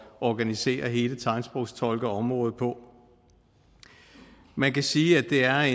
organisere hele tegnsprogstolkeområdet på man kan sige at det er